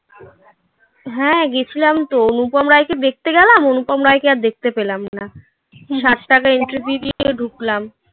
হ্যাঁ গেছিলাম তো অনুপম রায়কে দেখতে গেলাম. অনুপম রায়কে আর দেখতে পেলাম না. হুম. সাত টাকা entry fee দিয়ে ঢুকলাম